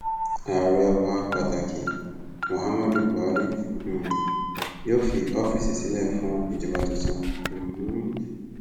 ààrẹ wa pàtàkì muhammadu buhari um yóò fi ọfíìsì sílẹ fún ìjọba tuntun um